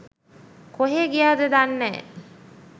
කොහේ ගියාද දන්නෑ.